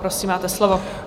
Prosím, máte slovo.